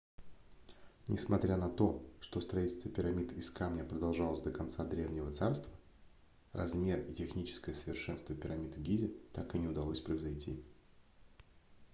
несмотря на то что строительство пирамид из камня продолжалось до конца древнего царства размер и техническое совершенство пирамид в гизе так и не удалось превзойти